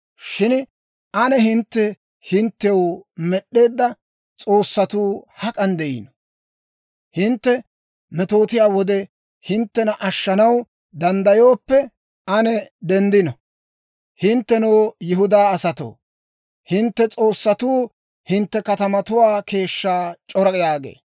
Shin ane, hintte hinttew med'eedda s'oossatuu hak'an de'ino? Hintte metootiyaa wode hinttena ashshanaw danddayooppe, ane denddino! Hinttenoo, Yihudaa asatoo, hintte s'oossatuu hintte katamatuwaa keeshshaa c'ora» yaagee.